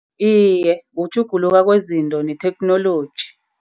Iye, kutjhuguluka kwezinto netheknoloji.